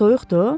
Soyuqdur?